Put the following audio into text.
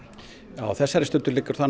á þessari stundu liggur það nú